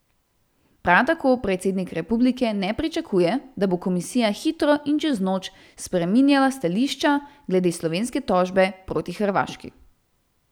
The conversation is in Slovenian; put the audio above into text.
Prav tako predsednik republike ne pričakuje, da bo komisija hitro in čez noč spreminjala stališča glede slovenske tožbe proti Hrvaški.